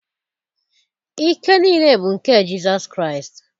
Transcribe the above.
Ike niile bụ nke Jizọs Kraịst.